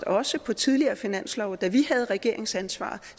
også på tidligere finanslove da vi havde regeringsansvaret